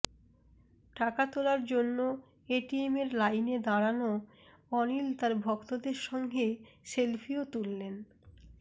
টাকা তোলার জন্য এটিএমের লাইনে দাঁড়ানো অনিল তাঁর ভক্তদের সঙ্গে সেলফিও তুললেন